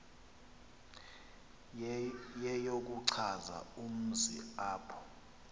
yeyokuchaza umzi apho